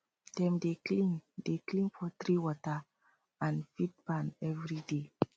dem dey clean dey clean poultry water and feed pan every day